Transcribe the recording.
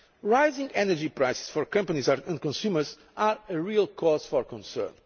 Rising energy prices for companies and consumers are a real cause for concern.